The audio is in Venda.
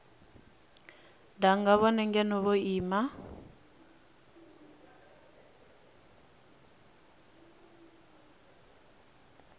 danga ngeno vhone vho ima